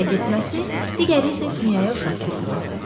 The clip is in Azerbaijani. Biri ərə getməsi, digəri isə dünyaya uşaq gətirməsi.